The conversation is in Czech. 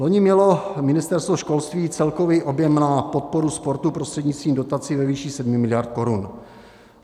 Loni mělo Ministerstvo školství celkový objem na podporu sportu prostřednictvím dotací ve výši 7 miliard korun.